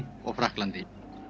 og Frakklandi